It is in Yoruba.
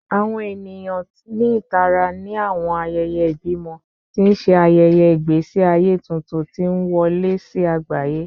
Awọn eniyan ni itara ni awọn ayẹyẹ ibimọ, ti n ṣe ayẹyẹ igbesi aye tuntun ti n wọle si agbaye